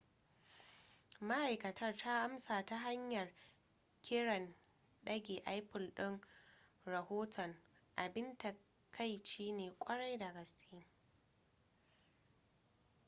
ma'aikatar ta amsa ta hanyar kiran dage apple din rahoton abin takaici ne kwarai da gaske